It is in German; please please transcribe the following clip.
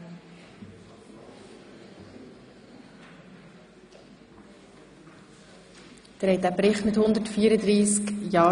Abstimmung (Geschäft 2017.RRGR.347 Geschäftsbericht 2016 der Universität Bern)